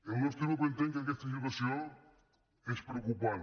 el nostre grup entén que aquesta situació és preocupant